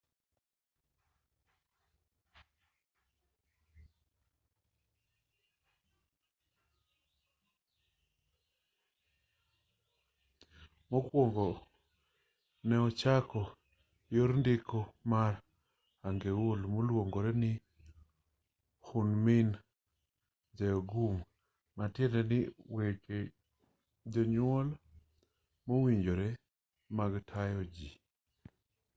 mokuongo ne ochako yor ndiko mar hangeul moluonge ni hunmin jeongeum ma tiendeni weche duol mowinjore mag tayo ji